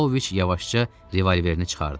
Paoviç yavaşca revolverini çıxardı.